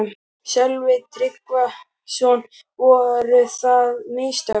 Sölvi Tryggvason: Voru það mistök?